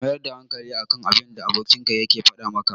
Ka mayar da hankali a kan abinda abokinka yake faɗa maka.